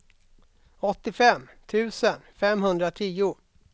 åttiofem tusen femhundratio